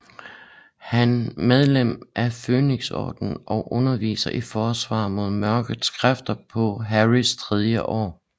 Han medlem af Fønixordenen og underviser i Forsvar mod Mørkets Kræfter på Harrys tredje år